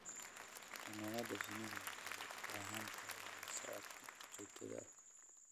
Xannaanada shinnidu waxay u baahan tahay la socodka joogtada ah.